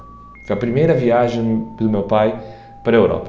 Foi a primeira viagem do meu pai para a Europa.